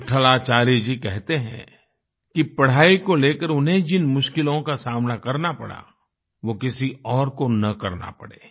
विट्ठलाचार्य जी कहते हैं कि पढ़ाई को लेकर उन्हें जिन मुश्किलों का सामना करना पड़ा वो किसी और को न करना पड़े